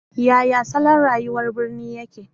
Yaya salon rayuwar birni yake?